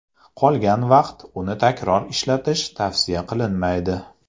Qolgan vaqt uni takror ishlatish tavsiya qilinmaydi.